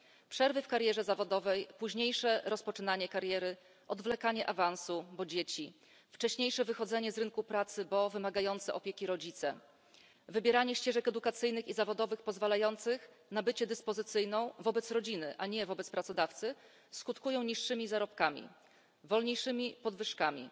Przerwy w karierze zawodowej, późniejsze rozpoczynanie kariery, odwlekanie awansu, bo dzieci, wcześniejsze wychodzenie z rynku pracy, bo wymagający opieki rodzice, wybieranie ścieżek edukacyjnych i zawodowych pozwalających na bycie dyspozycyjną wobec rodziny, a nie wobec pracodawcy skutkują niższymi zarobkami, wolniejszymi podwyżkami,